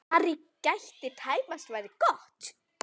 Ari gat tæpast varist glotti.